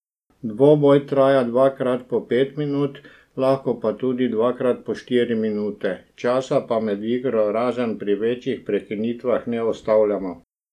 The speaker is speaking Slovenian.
Dvoboj traja dvakrat po pet minut, lahko tudi dvakrat po štiri minute, časa pa med igro, razen pri večjih prekinitvah, ne ustavljamo.